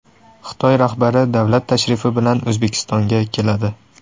Xitoy rahbari davlat tashrifi bilan O‘zbekistonga keladi .